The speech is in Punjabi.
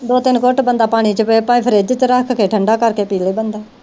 ਦੋ ਤਿੰਨ ਘੁੱਟ ਬੰਦਾ ਪਾਣੀ ਚ ਭਾਵੇ ਫਰਿਜ਼ ਚ ਰੱਖ ਕੇ ਠੰਡਾ ਕਰਕੇ ਪੀਲੇ ਬੰਦਾ।